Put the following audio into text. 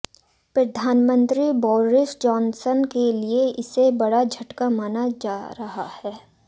प्रधानमंत्री Boris Johnson के लिए इसे बड़ा झटका माना जा रहा है